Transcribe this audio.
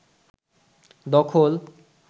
দখল